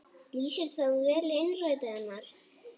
Lýsir það vel innræti hennar.